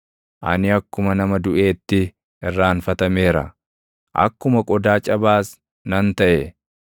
Ani akkuma nama duʼeetti irraanfatameera; akkuma qodaa cabaas nan taʼe.